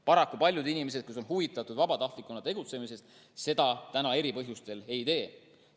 Paraku, paljud inimesed, kes on huvitatud vabatahtlikuna tegutsemisest, seda eri põhjustel ei tee.